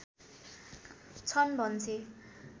छन् भन्छे